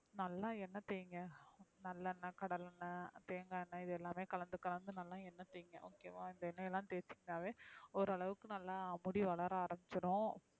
நல்லா என்ன தேய்ங்க நல்லா என்ன கடலை என்ன தேங்க என்ன இதெல்லாம் கலந்து கலந்து நல்லாதேய்ங்க என்ன இந்த என்னையெல்லாம் தேசிங்கனவே okay வா ஓரளவுக்கு நல்ல மூடி வளர ஆரம்பிச்சிரும்,